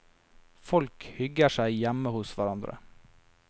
Folk hygger seg hjemme hos hverandre.